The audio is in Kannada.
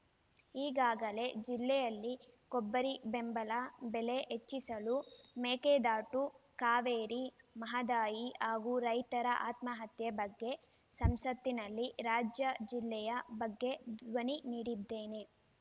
ಈಗಾಗಲೇ ಜಿಲ್ಲೆಯಲ್ಲಿ ಕೊಬ್ಬರಿ ಬೆಂಬಲ ಬೆಲೆ ಹೆಚ್ಚಿಸಲು ಮೇಕೆದಾಟು ಕಾವೇರಿ ಮಹದಾಯಿ ಹಾಗೂ ರೈತರ ಆತ್ಮಹತ್ಯೆ ಬಗ್ಗೆ ಸಂಸತ್‍ನಲ್ಲಿ ರಾಜ್ಯ ಜಿಲ್ಲೆಯ ಬಗ್ಗೆ ಧ್ವನಿ ನೀಡಿದ್ದೇನೆ